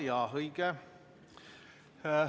Jaa, õige.